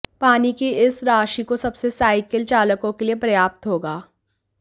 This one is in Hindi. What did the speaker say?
पानी की इस राशि को सबसे साइकिल चालकों के लिए पर्याप्त होगा